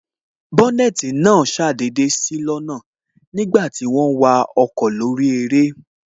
Bónètī náà ṣàdédé sí lọ́nà nígbàti wọ́n ń wa ọkọ̀ lórí eré